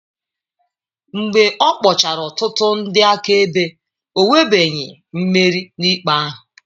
Mgbe ọ kpọchara ọtụtụ ndị akaebe, o nwebeghị mmeri n'ikpe ahụ.